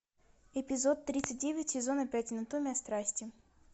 эпизод тридцать девять сезона пять анатомия страсти